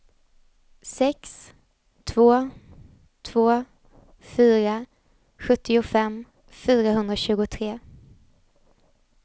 sex två två fyra sjuttiofem fyrahundratjugotre